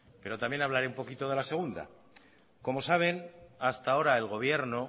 pero también hablaré un poquito de la segunda como saben hasta ahora el gobierno